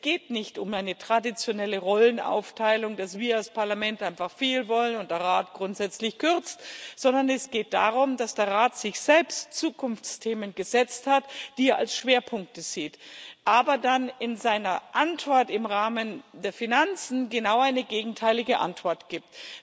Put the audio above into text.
Es geht nicht um eine traditionelle Rollenaufteilung, dass wir, das Parlament, einfach viel wollen und der Rat grundsätzlich kürzt, sondern es geht darum, dass der Rat sich selbst Zukunftsthemen gesetzt hat, die er als Schwerpunkte sieht, aber dann in seiner Antwort im Rahmen der Finanzen genau eine gegenteilige Antwort gibt.